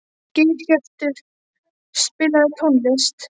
Geirhjörtur, spilaðu tónlist.